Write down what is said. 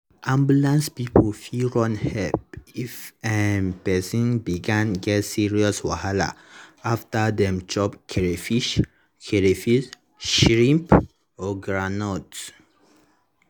ambulance people fit run help if um person begin get serious wahala after them chop crayfish crayfish shrimp or groundnut.